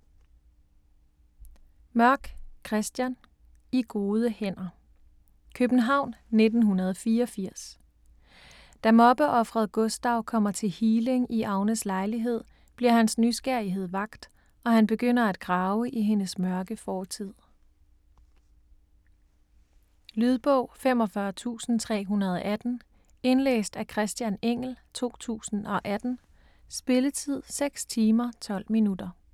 Mørk, Christian: I gode hænder København, 1984. Da mobbeofferet Gustav kommer til healing i Agnes lejlighed, bliver hans nysgerrighed vakt, og han begynder at grave i hendes mørke fortid. Lydbog 45318 Indlæst af Christian Engell, 2018. Spilletid: 6 timer, 12 minutter.